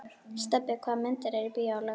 Stebbi, hvaða myndir eru í bíó á laugardaginn?